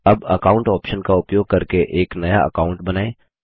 अब account option का उपयोग करके एक नया अकाऊंट बनाएँ